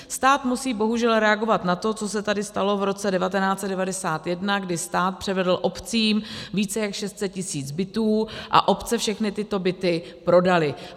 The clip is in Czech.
Stát musí bohužel reagovat na to, co se tady stalo v roce 1991, kdy stát převedl obcím více jak 600 tisíc bytů a obce všechny tyto byty prodaly.